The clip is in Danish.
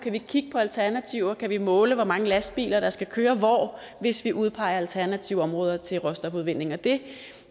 kigge på alternativer måle hvor mange lastbiler der skal køre hvor hvis vi udpeger alternative områder til råstofudvinding og det